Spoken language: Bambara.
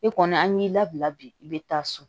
E kɔni an y'i labila bi i bɛ taa so